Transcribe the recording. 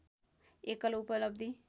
एकल उपलब्धि